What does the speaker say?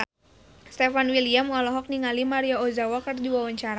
Stefan William olohok ningali Maria Ozawa keur diwawancara